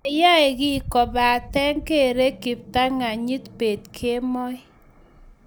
mayae kiy kobate kere kiptanganyit pet kemoi